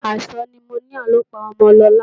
Àìsàn nimoníà ló pa ọmọ Lọlá